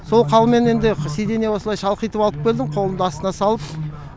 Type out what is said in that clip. сол халмен енді сиденьеге осылай шалқайтып алып келдім қолымды астына салып